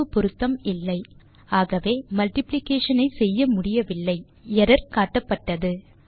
அளவுப்பொருத்தம் இல்லை ஆகவே மல்டிப்ளிகேஷன் ஐ செய்ய முடியவில்லை எர்ரர் காட்டப்பட்டது